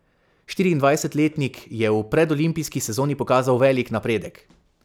Štiriindvajsetletnik je v predolimpijski sezoni pokazal velik napredek.